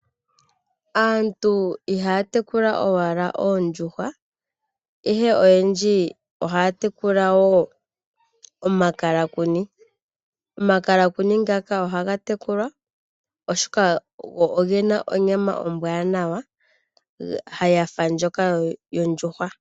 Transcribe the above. Aantu ihaya tekula owala oondjuhwa, ihe oyendji ohaya tekula wo omakalakuni. Omakalakuni ngaka ohaga tekulwa oshoka, ogena onyama ombwaanawa yafa ndjoka yondjuhwa.